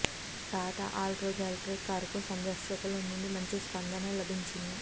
Tata Altroz electric కారుకు సందర్శకుల నుండి మంచి స్పందన లభించింది